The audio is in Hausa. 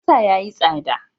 Albasa ya yi tsada.